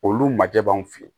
Olu majɛ b'anw fɛ yen